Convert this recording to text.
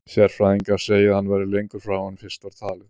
Sérfræðingar segja að hann verði lengur frá en fyrst var talið.